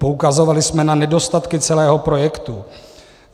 Poukazovali jsme na nedostatky celého projektu.